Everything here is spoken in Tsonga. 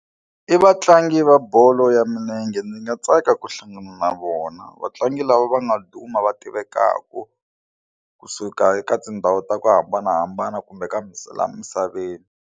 I vatlangi va bolo ya milenge ni nga tsaka ku hlangana na vona vatlangi lava va nga duma va tivekaka kusuka eka tindhawu ta ku hambanahambana kumbe ka la misaveni.